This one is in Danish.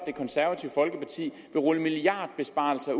det konservative folkeparti vil rulle milliardbesparelser